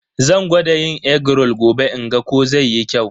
Zan gwada yin egg roll gobe in ga ko zai yi kyau.